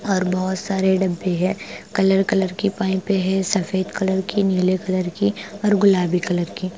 और बहोत सारे डब्बे है कलर कलर की पाइपे है सफेद कलर की नीले कलर की और गुलाबी कलर की--